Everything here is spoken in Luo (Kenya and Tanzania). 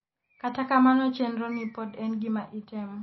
kata kamano chenro ni pod en gima itemo